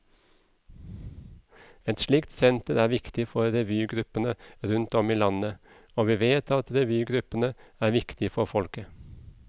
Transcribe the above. Et slikt senter er viktig for revygruppene rundt om i landet, og vi vet at revygruppene er viktige for folket.